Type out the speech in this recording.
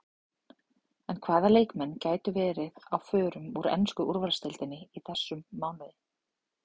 En hvaða leikmenn gætu verið á förum úr ensku úrvalsdeildinni í þessum mánuði?